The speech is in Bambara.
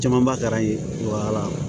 Camanba kɛra yen wa